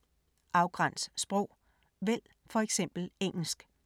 Afgræns sprog: vælg for eksempel engelsk